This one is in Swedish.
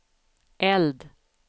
eld